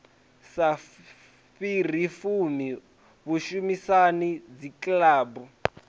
sa fhiri fumi vhushumisani dzikilabu